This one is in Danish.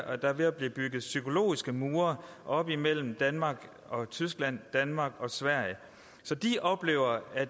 at der er ved at blive bygget psykologiske mure op mellem danmark og tyskland og mellem danmark og sverige så de oplever at